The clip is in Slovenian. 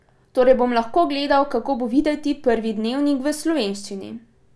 Torej bom lahko gledal, kako bo videti prvi dnevnik v slovenščini!